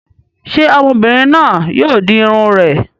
Ṣé ọmọbìnrin náà yóò di irun rẹ̀?